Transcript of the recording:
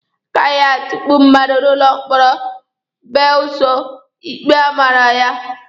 A gaghị atukpu mmadụ n'ụlọ mkpọrọ belụsọ ikpe ọ mara ya.